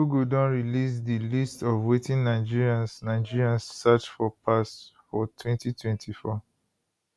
google don release di list of wetin nigerians nigerians search for pass for 2024